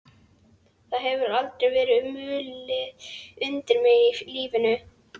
Það hefur aldrei verið mulið undir mig í lífinu.